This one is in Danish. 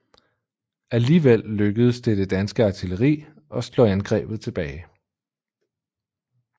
Alligevel lykkedes det det danske artilleri at slå angrebet tilbage